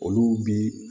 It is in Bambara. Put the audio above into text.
Olu bi